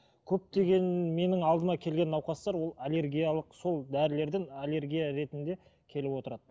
көптеген менің алдыма келген науқастар ол аллергиялық сол дәрілерден аллергия ретінде келіп отырады